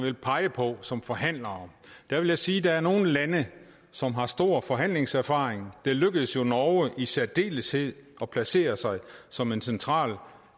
vil pege på som forhandlere vil jeg sige at der er nogle lande som har stor forhandlingserfaring det lykkedes jo norge i særdeleshed at placere sig som en central